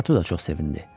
Pasportu da çox sevindi.